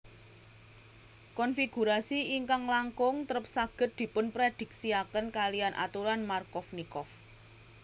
Konfigurasi ingkang langkung trep saged dipunprediksiaken kaliyan aturan Markovnikov